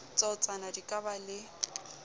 tsatsona di ka ba le